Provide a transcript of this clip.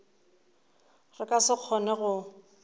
re ka se kgone go